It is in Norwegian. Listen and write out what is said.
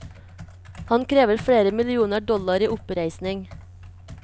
Han krever flere millioner dollar i oppreisning.